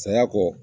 Saya kɔ